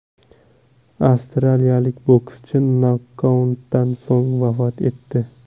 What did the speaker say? Avstraliyalik bokschi nokautdan so‘ng vafot etdi.